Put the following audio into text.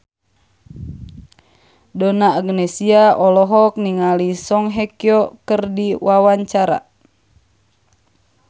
Donna Agnesia olohok ningali Song Hye Kyo keur diwawancara